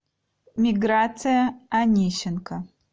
миграция анищенко